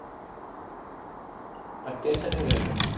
અત્યાર શેની રજા